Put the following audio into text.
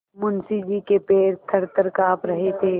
मुंशी जी के पैर थरथर कॉँप रहे थे